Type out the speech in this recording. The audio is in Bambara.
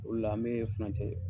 O la an be furancɛ